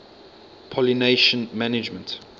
pollination management